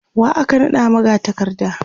wa aka naɗa magatakarda?